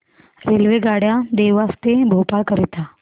रेल्वेगाड्या देवास ते भोपाळ करीता